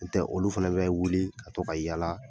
N tɛ olu fana bɛ wuli ka to ka yaala